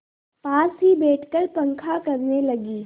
पास ही बैठकर पंखा करने लगी